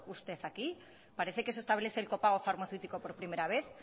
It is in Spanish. usted aquí parece que se establece el copago farmacéutico por primera vez